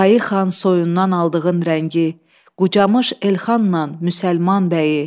Qayı xan soyundan aldığın rəngi, qucamış Elxanla Müsəlman bəyi.